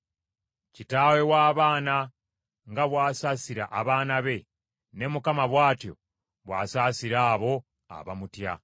Kitaawe w’abaana nga bw’asaasira abaana be, ne Mukama bw’atyo bw’asaasira abo abamutya.